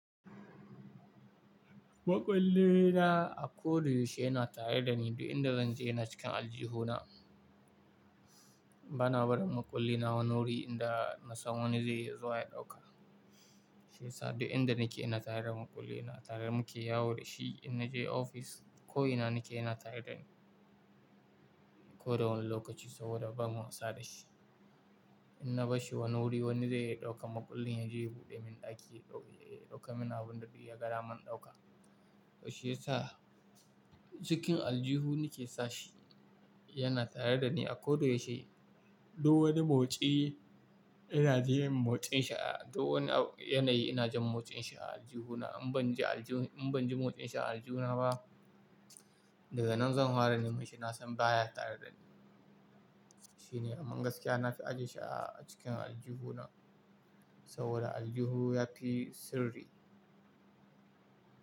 Maƙulli na a ko da yaushe yana tare da ni, duk inda zan je na cikin aljihuna. Bana barin maƙulli na wani wuri inda na san wani zai zo ya ɗauka. Shi yasa duk inda nake ina tare da maƙulli na, tare muke, ya wuce shi. In na je ofis ko ina nake yana tare da ni ko da wani lokaci saboda ba mu wasa da shi. In na bashi wani wuri wani zai ya ɗauka, maƙullin ya je ya buɗe min ɗaki, ya ɗauka min abinda duk yagadaman man ɗauka. Shi yasa cikin aljihu nake sashi yana tare da ni a ko da yaushe. Duk wani motsi ina jin motsin shi a duk wani yanayi ina jin motsin shi a aljihuna. In ban ji, in ban ji motsin shi a aljihu na ba daga nan zan fara neman shi na san baya tare da ni. Shi ne, amma gaskiya na fi ajiye shi a cikin aljihu na saboda aljihu yafi sirri.